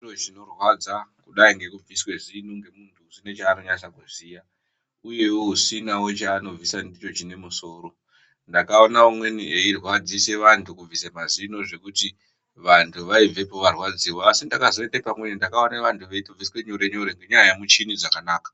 ...zvinorwadza kudai ngekubviswe zino ngemuntu usine chaanonasa kuziya uyewo usinawo chaanobvisa ndicho chine musoro. Ndakaona umweni eirwadzise vantu kubvise mazino zvekuti vantu vaibvepo varwadziwa. Asi ndakazoende pamweni ndakaone vantu veitobviswe nyore-nyore ngenyaya yemuchini dzakanaka.